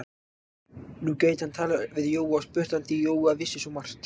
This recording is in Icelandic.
Nú gæti hann talað við Jóa og spurt hann, því að Jói vissi svo margt.